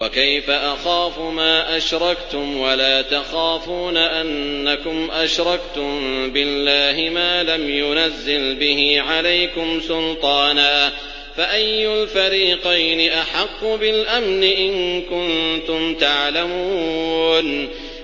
وَكَيْفَ أَخَافُ مَا أَشْرَكْتُمْ وَلَا تَخَافُونَ أَنَّكُمْ أَشْرَكْتُم بِاللَّهِ مَا لَمْ يُنَزِّلْ بِهِ عَلَيْكُمْ سُلْطَانًا ۚ فَأَيُّ الْفَرِيقَيْنِ أَحَقُّ بِالْأَمْنِ ۖ إِن كُنتُمْ تَعْلَمُونَ